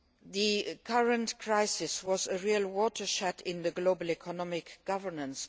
The current crisis was a real watershed in global economic governance.